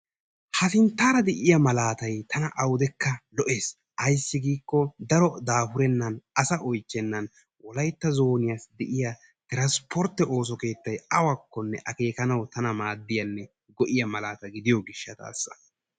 Ha sinttara de'iyaa malatay tana awudekka lo''ees. Ayssi giiko daro daafurennan asaa oychchennan Wolaytta zooniyassi de'iyaa transportte ooso keettay awakkonne akkenanawu ta maaddiyanne go''iya malaata gidiyo gishshatassa.